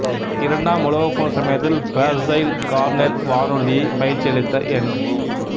இரண்டாம் உலகப்போர் சமயத்தில் ஃபேர்சைல்ட் கார்னெல் வானூர்தி பயிற்சியளித்த எண்